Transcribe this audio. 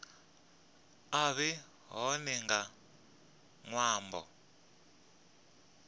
a vhe hone nga ṅwambo